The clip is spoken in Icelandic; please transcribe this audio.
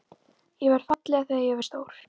Ég verð falleg þegar ég verð stór.